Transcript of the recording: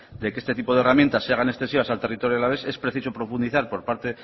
de que este tipo de herramientas se hagan extensivas al territorio alavés es preciso profundizar por parte